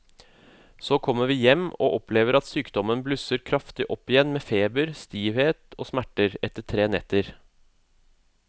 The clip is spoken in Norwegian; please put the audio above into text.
Så kommer vi hjem og opplever at sykdommen blusser kraftig opp igjen med feber, stivhet og smerter etter tre netter.